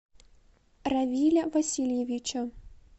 равиля васильевича